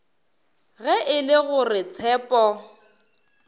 ge e le gore tshepo